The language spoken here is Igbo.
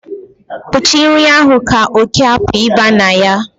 kpuchie nri ahụ ka oke hapu iba na ya